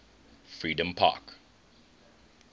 freedompark